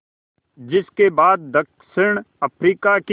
जिस के बाद दक्षिण अफ्रीका की